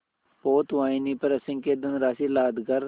पोतवाहिनी पर असंख्य धनराशि लादकर